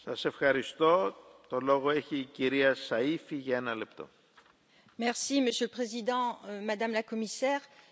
Monsieur le Président, Madame la Commissaire, je souhaite tout d'abord remercier mon collègue, Franck Proust, pour son travail sur ce dossier très important.